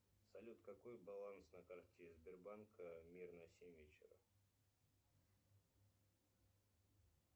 салют какой баланс на карте сбербанка мир на семь вечера